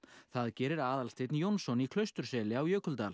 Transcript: það gerir Aðalsteinn Jónsson í Klausturseli á Jökuldal